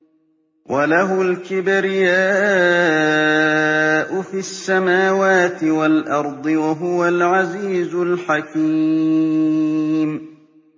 وَلَهُ الْكِبْرِيَاءُ فِي السَّمَاوَاتِ وَالْأَرْضِ ۖ وَهُوَ الْعَزِيزُ الْحَكِيمُ